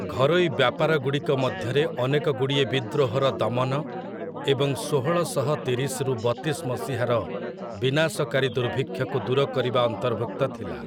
ଘରୋଇ ବ୍ୟାପାରଗୁଡ଼ିକ ମଧ୍ୟରେ ଅନେକଗୁଡ଼ିଏ ବିଦ୍ରୋହର ଦମନ, ଏବଂ ଷୋହଳଶହ ତିରିଶରୁ ବତିଶ ମସିହାର ବିନାଶକାରୀ ଦୁର୍ଭିକ୍ଷକୁ ଦୂର କରିବା ଅନ୍ତର୍ଭୁକ୍ତ ଥିଲା ।